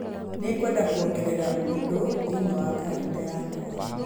Nĩngwenda kuongerera ũndũ thĩinĩ wa kalendarĩ yakwa